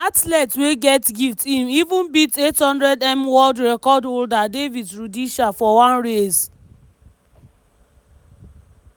"na athlete wey get gift im even beat [800m] world record holder david rudisha for one race.